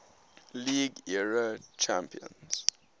league era champions